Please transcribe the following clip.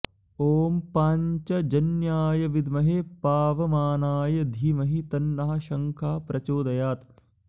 ॐ पाञ्चजन्याय विद्महे पावमानाय धीमहि तन्नः शंखः प्रचोदयात्